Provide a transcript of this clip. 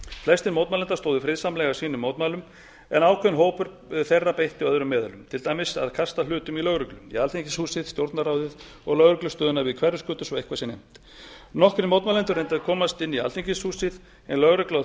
flestir mótmælenda stóðu friðsamlega að sínum mótmælum en ákveðinn hópur þeirra beitti öðrum meðölum til dæmis því að kasta hlutum í lögreglu í alþingishúsið stjórnarráðið og lögreglustöðina við hverfisgötu svo eitthvað sé nefnt nokkrir mótmælendur reyndu að komast inn í alþingishúsið en lögregla